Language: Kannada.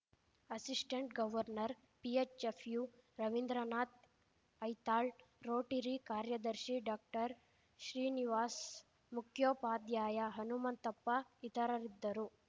assistant governor PHF U Ravindranath Aithal Rotary ಕಾರ್ಯದರ್ಶಿ ಡಾಕ್ಟರ್ ಶ್ರೀನಿವಾಸ್‌ ಮುಖ್ಯೋಪಾಧ್ಯಾಯ ಹನುಮಂತಪ್ಪ ಇತರರಿದ್ದರು